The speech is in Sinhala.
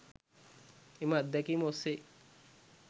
එම අත්දැකීම ඔස්සේ